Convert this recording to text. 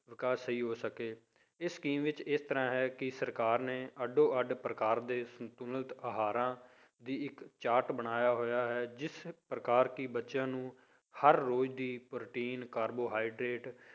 ਵਿਕਾਸ ਸਹੀ ਹੋ ਸਕੇ, ਇਸ scheme ਵਿੱਚ ਇਸ ਤਰ੍ਹਾਂ ਹੈ ਕਿ ਸਰਕਾਰ ਨੇ ਅੱਡੋ ਅੱਡ ਪ੍ਰਕਾਰ ਦੇ ਸੰਤੁਲਤ ਆਹਾਰਾਂ ਦੀ ਇੱਕ ਚਾਰਟ ਬਣਾਇਆ ਹੋਇਆ ਹੈ, ਜਿਸ ਪ੍ਰਕਾਰ ਕਿ ਬੱਚਿਆਂ ਨੂੰ ਹਰ ਰੋਜ਼ ਦੀ protein carbohydrate